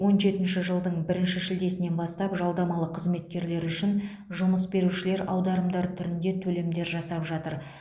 он жетінші жылдың бірінші шілдесінен бастап жалдамалы қызметкерлер үшін жұмыс берушілер аударымдар түрінде төлемдер жасап жатыр